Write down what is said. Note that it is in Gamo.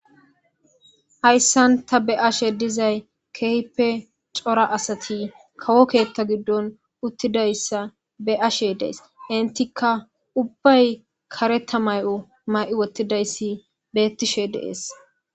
Hayssan ta be'ashe dizay keehippe cora asati kawo keeththa giddon uttidayssa be'ashe de'ays enttikka ubbay kareta may'o may'i wottidaysi beetishe de'es.